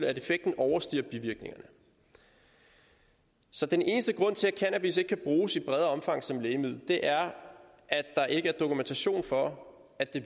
at effekten overstiger bivirkningerne så den eneste grund til at cannabis ikke kan bruges i større omfang som lægemiddel er at der ikke er dokumentation for at det